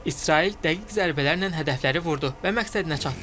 İsrail dəqiq zərbələrlə hədəfləri vurdu və məqsədinə çatdı.